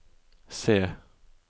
se